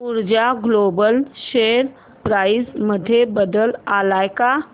ऊर्जा global share price मध्ये बदल आलाय का